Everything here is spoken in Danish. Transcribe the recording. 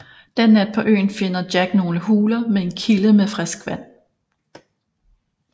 Den nat på øen finder Jack nogle huler med en kilde med frisk vand